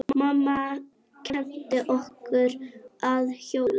Mamma kenndi okkur að hjóla.